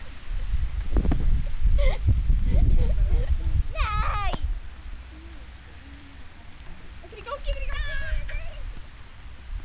Sakna þín að eilífu.